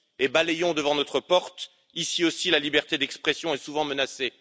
Balayons devant notre porte ici aussi, la liberté d'expression est souvent menacée.